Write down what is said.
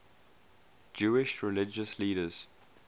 jewish religious leaders